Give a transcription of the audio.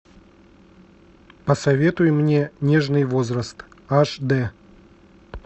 посоветуй мне нежный возраст аш д